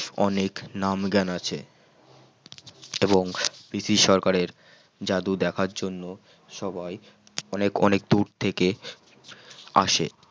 অনেক নাম জ্ঞান আছে এবং পিসি সরকারের জাদু দেখার জন্য সবাই অনেক অনেক দূর থেকে আসে